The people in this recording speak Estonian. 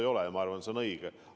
Ei ole, ja ma arvan, et see on õige.